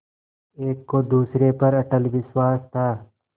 एक को दूसरे पर अटल विश्वास था